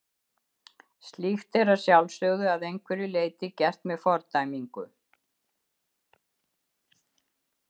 Slíkt er að sjálfsögðu að einhverju leyti gert með fordæmingu.